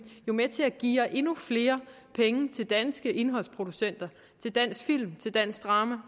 jo med til at geare endnu flere penge til danske indholdsproducenter til dansk film til dansk drama